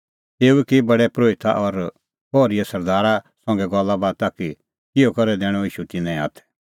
तेऊ की प्रधान परोहिता और पहरीए सरदारा संघै गल्ला बाता कि किहअ करै दैणअ ईशू तिन्नें हाथै